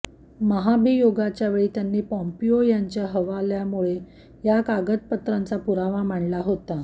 महाभियोगाच्यावेळी त्यांनी पॉम्पिओ यांच्या हवाल्याने या कागदपत्रांचा पुरावा मांडला होता